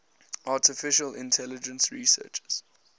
artificial intelligence researchers